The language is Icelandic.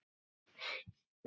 Bestu liðin?